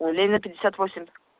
ой ленина пятьдесят восемь